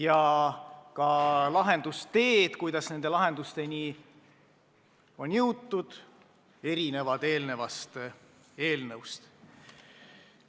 Ja ka moodused, kuidas lahendusteni on jõutud, on teistsugused.